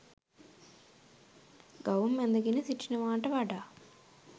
ගවුම් ඇඳගෙන සිටිනවාට වඩා